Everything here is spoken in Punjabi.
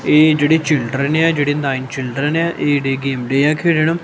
ਇਹ ਜਿਹੜੇ ਚਿਲਡਰਨ ਆ ਜਿਹੜੇ ਨਾਇਨ ਚਿਲਡਰਨ ਆ ਇਹ ਇਹਡੇ ਗੇਮ ਡੇਹਾ ਖੇਡਣ ਹਾਂ।